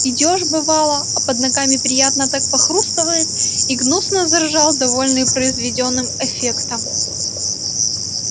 идёшь бывало а под ногами приятно так похрустывает и гнусно заржал довольный произведённым эффектом